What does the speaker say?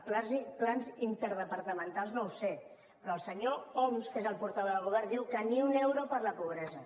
plans interdepartamentals no ho sé però el senyor homs que és el portaveu del govern diu que ni un euro per a la pobresa